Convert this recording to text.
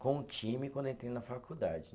com o time quando eu entrei na faculdade.